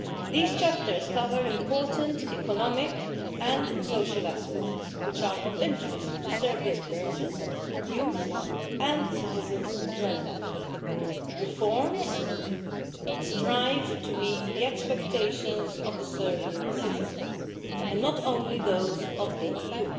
These chapters cover important economic and social aspects which are of interest to Serbia's businesses, youth and citizens in general. Reforms strive to meet the expectations of the Serbian citizens and not only those of the EU.